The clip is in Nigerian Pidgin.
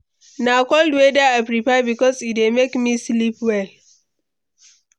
Na cold weather i prefer because e dey make me sleep well.